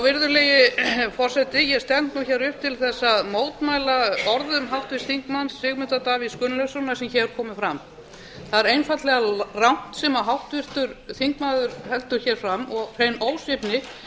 virðulegi forseti ég stend nú hér upp til þess að mótmæla orðum háttvirts þingmanns sigmundar davíðs gunnlaugssonar sem hér komu fram það er einfaldlega rangt sem háttvirtur þingmaður heldur hér fram og hrein ósvífni